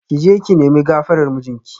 Ki je ki nemi gafarar mijinki